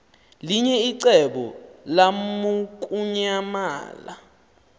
linye icebo lamukunyamalala